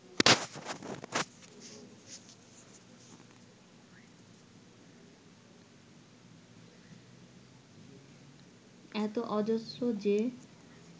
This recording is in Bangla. এতো অজস্র যে